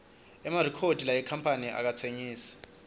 emarikhodi yale kamphani akatsengisi